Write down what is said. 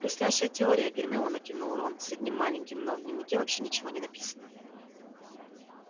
блестящая теория гермиона кивнул рон с одним маленьким но в дневнике вообще ничего не написано